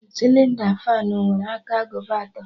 Sịlịnda fanụ nwere aka agụba atọ